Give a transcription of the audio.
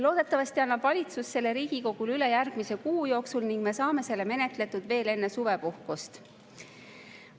Loodetavasti annab valitsus selle Riigikogule üle järgmise kuu jooksul ning me saame selle menetletud veel enne suvepuhkust.